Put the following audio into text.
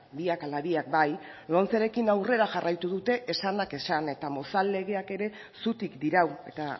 biak ala biak bai lomcerekin aurrera jarraitu dute esanak esan eta mozal legeak ere zutik dirau eta